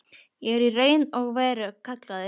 Ég er í raun og veru kallaður.